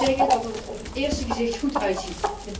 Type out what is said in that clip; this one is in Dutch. Ik moet zeggen dat het er op het eerste gezicht goed uitziet.